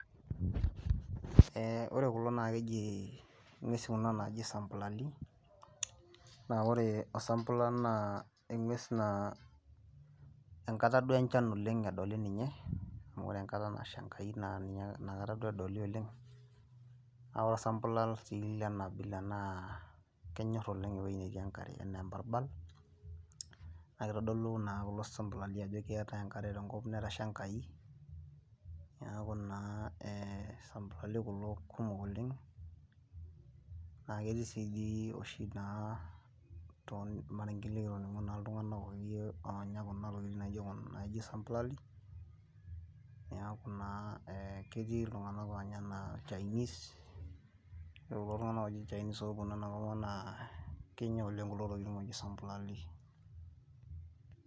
Ee ore kulo naakeji inkuesi kuna naaji sambulali, naa ore osambulal naa enkues naa enkata duo enjan edolita ninye. Amu ore enkata nasha Enkai naa nakata duo edoli oleng',naa ore osambulal lena abila naa kenyor oleng' ewoji netii enkare enaa embarbal, nitodulu duo kulo sambulali aajo ketai enkare tenkopang' etasha Enkai, neeku naa ee sambulali kulo kumok oleng',naa ketii sii dii oshi naa tolmarenken iltunganak ooji kenya intokitin naijo sambulali. Neeku naa ketii iltunganak naa oji ilchainis. Ore kulo tunganak oji ilchainis ooponu ena kopang naa kenya oleng' kulo tokitin oji sambulali.